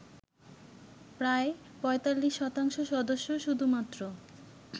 প্রায় ৪৫ শতাংশ সদস্য শুধুমাত্র